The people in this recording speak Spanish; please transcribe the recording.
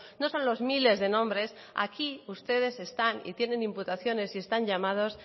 no son los miles de nombres aquí ustedes están y tienen imputaciones y están llamados